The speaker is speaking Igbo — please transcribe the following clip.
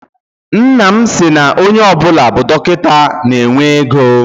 Nna m sị na onye ọbụla bụ dọkịta na-enwe ego.